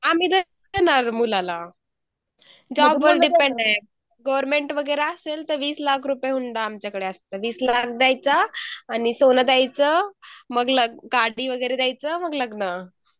आमेही देते न ग मुलाला जॉब वर डिपेंड आहे गवर्नमेंट वैगेरे असेल तर वीस लाख रूप हुंडा आमच कडे असत वीस लाख देयाच आणि सोना देयाच मग गाडी वैगेरे देयाच मग लग्न